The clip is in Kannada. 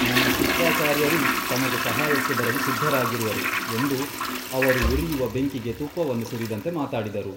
ನಮ್ಮ ಶುಕ್ರಾಚಾರ್ಯರೂ ತಮಗೆ ಸಹಾಯಕ್ಕೆ ಬರಲು ಸಿದ್ಧರಾಗಿರುವರು ಎಂದು ಅವರು ಉರಿಯುವ ಬೆಂಕಿಗೆ ತುಪ್ಪವನ್ನು ಸುರಿದಂತೆ ಮಾತಾಡಿದರು.